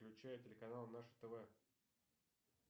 включай телеканал наше тв